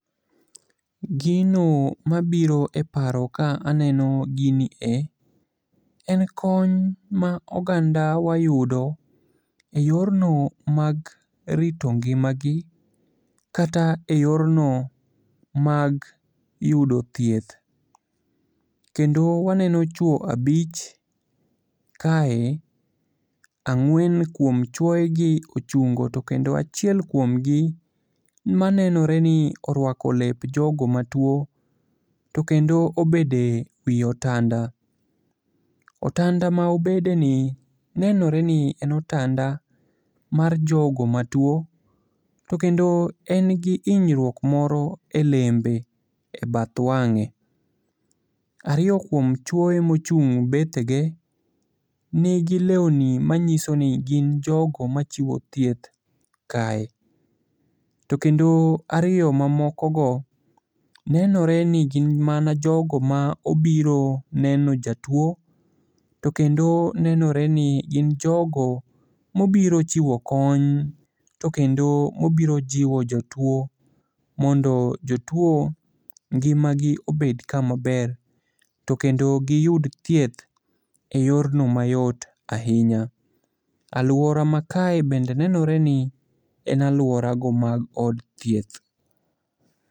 Gino mabiro e paro ka aneno gini e,en kony ma ogandawa yudo e yorno mag rito ngimagi kata e yorno mag yudo thieth, kendo waneno chwo abich kae, ang'wen kuom chuoyegi ochungo to kendo achiel kuomgi manenore ni orwako lep jogo matuwo ,to kendo obedo e wi otanda. Otanda ma obedeni nenore ni en otanda mar jogo matuwo. To kendo en gi hinyruok moro e lembe,e bath wang'e. Ariyo kuom chuoye mochung' e bethege, nigi lewni manyiso ni gin jogo machiwo chieth kae, to kendo ariyo mamokogo nenore ni gin mana jogo ma obiro neno jatuwo, to kendo nenore ni jogo mobiro chiwo kony, to kendo obiro jiwo jotuwo mondo jotuwo ngimagi obed kamaber, to kendo giyud thieth e yorno mayot ahinya. Alwora makae bende nenore ni en alworago mag od thieth.